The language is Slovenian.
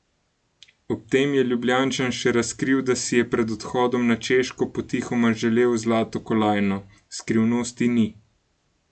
Ob tem je Ljubljančan še razkril, da si je pred odhodom na Češko potihoma želel zlato kolajno: 'Skrivnosti ni.